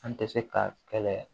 An tɛ se ka kɛlɛ